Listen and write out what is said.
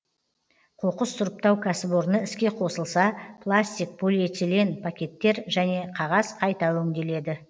қоқыс сұрыптау кәсіпорны іске қосылса пластик полиэтилен пакеттер және қағаз қайта өңделеді